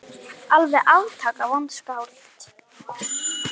Alveg aftaka vont skáld.